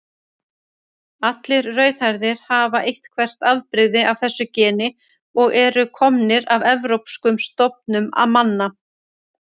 Allir rauðhærðir hafa eitthvert afbrigði af þessu geni og eru komnir af evrópskum stofnum manna.